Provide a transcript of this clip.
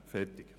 Fertig